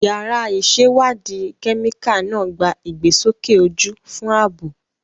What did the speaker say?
Yàrá ìṣèwádìí kẹ́míkà náà gba ìgbésókè ojú fún ààbò.